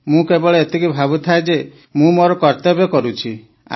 ମୁଁ କେବଳ ଏତିକି ଭାବୁଥାଏ ଯେ ମୁଁ ମୋର କର୍ତ୍ତବ୍ୟ କରୁଛି